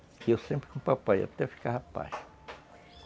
E eu sempre com o papai, até ficar rapaz.